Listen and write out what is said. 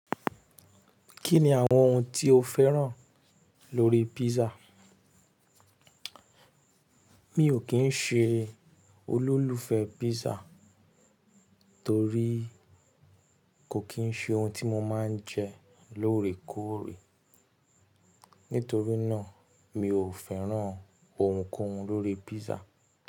Kí ni àwọn ohun tí o fẹ́ràn lórí písà? Mi ò kín ṣe olólùfẹ́ písà torí kò kín ṣe ohun tí mo máa ń jẹ lóòrèkóòrè. Nítorí náà, mi ò fẹ́ràn ohunkóhun lórí písà.